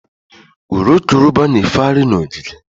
Urukurubụba na-efegharị n'ogige.